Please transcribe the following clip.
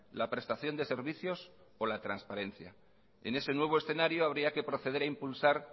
la prestación de servicios o la transparencia en ese nuevo escenario habría que proceder a impulsar